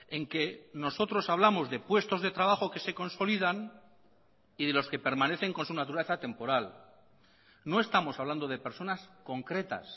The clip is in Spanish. en que nosotros hablamos de puestos de trabajo que se consolidan y de los que permanecen con su naturaleza temporal no estamos hablando de personas concretas